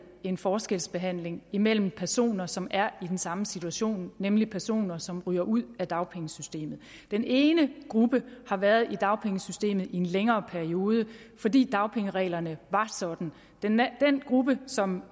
en forskelsbehandling mellem personer som er i den samme situation nemlig personer som ryger ud af dagpengesystemet den ene gruppe har været i dagpengesystemet i en længere periode fordi dagpengereglerne var sådan den gruppe som